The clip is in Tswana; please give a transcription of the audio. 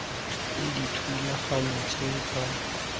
le dithulaganyo tsa bona tsa